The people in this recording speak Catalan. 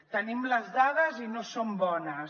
tenim les dades i no són bones